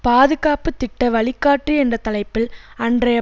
பாதுகாப்பு திட்ட வழிகாட்டி என்ற தலைப்பில் அன்றைய